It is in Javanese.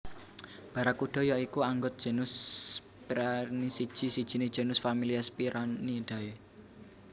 Barakuda ya iku anggot genus Sphyraena siji sijiné genus familia Sphyraenidae